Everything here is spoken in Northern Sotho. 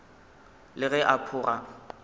le ge a pho ga